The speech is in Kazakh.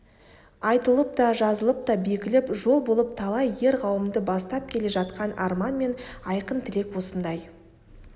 айтылып та жазылып та бекіліп жол болып талай ер қауымды бастап келе жатқан арман мен айқын тілек осындай